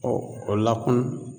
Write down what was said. o lakun